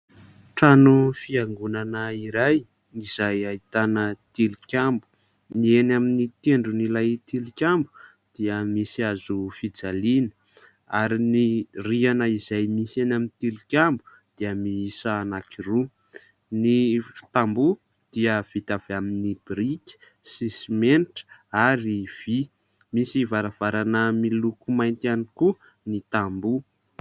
Trano fiangonana iray izay ahitana tilikambo. Ny eny amin'ny tendron'ilay tilikambo dia misy hazo fijaliana ary ny rihana izay misy eny amin'ny tilikambo dia miisa anankiroa. Ny tamboho dia vita avy amin'ny biriky sy simenitra ary vy. Misy varavarana miloko mainty ihany koa ny tamboho.